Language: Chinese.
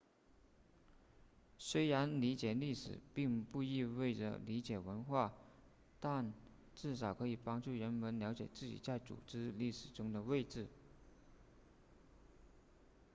虽然理解历史并不意味着理解文化但至少可以帮助人们了解自己在组织历史中的位置